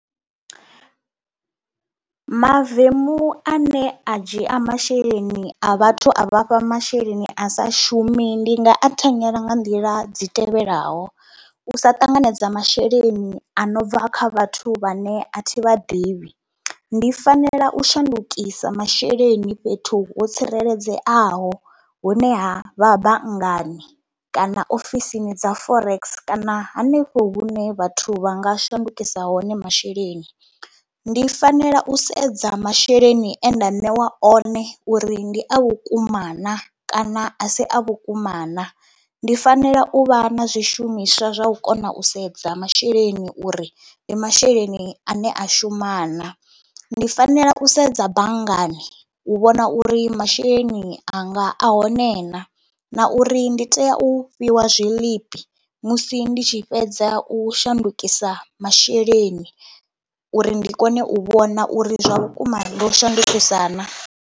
Mavemu ane a dzhia masheleni a vhathu a vha fha masheleni a sa shumi ndi nga a thanyela nga nḓila dzi tevhelaho, u sa ṱanganedza masheleni ano bva kha vhathu vhane a thi vha ḓivhi, ndi fanela u shandukisa masheleni fhethu ho tsireledzeaho hone ha vha banngani kana ofisini dza Forex kana hanefho hune vhathu vha nga shandukisa hone masheleni. Ndi fanela u sedza masheleni ane nda ṋewa one uri ndi a vhukuma na kana a si a vhukuma na. Ndi fanela u vha na zwishumiswa zwa u kona u sedza masheleni uri ndi masheleni ane a shuma na. Ndi fanela u sedza banngani u vhona uri masheleni anga a hone na na uri ndi tea u fhiwa zwiḽipi musi ndi tshi fhedza u shandukisa masheleni uri ndi kone u vhona uri zwa vhukuma ndo shandukisa na.